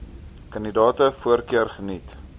kandidate voorkeur geniet